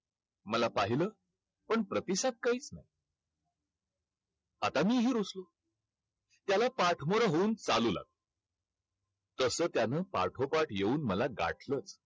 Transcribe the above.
मला पाहिलं, पण प्रतिसाद काही आता मीही रूसलो. त्याला पाठमोरं होऊन चालू लागलो. तसं त्यानं पाठोपाठ येऊन मला गाठलं.